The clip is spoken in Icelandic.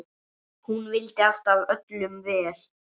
Hún vildi alltaf öllum vel.